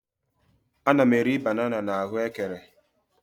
Ana m eri banana m na ahuekere